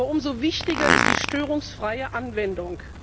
Aber umso wichtiger ist die störungsfreie Anwendung.